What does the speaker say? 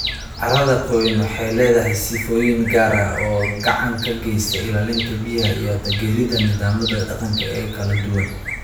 Carrada qoyan waxay leedahay sifooyin gaar ah oo gacan ka geysta ilaalinta biyaha iyo taageeridda nidaamyada deegaanka ee kala duwan.